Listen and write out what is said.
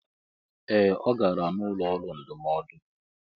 Ee! Ọ gara n'ụlọ ọrụ ndụmọdụ.